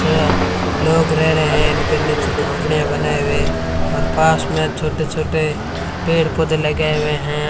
तो यहां लोग रह रहे हैं इनके नीचे झोपड़ियां बनाए हुए और पास में छोटे छोटे पेड़ पौधे लगाए हुए हैं।